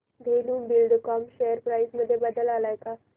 Dhenu Buildcon share price मध्ये बदल आलाय का